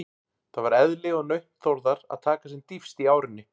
Það var eðli og nautn Þórðar að taka sem dýpst í árinni.